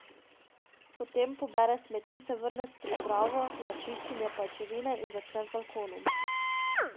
Potem pobere smeti, se vrne s pripravo za čiščenje pajčevine in začne z balkonom ...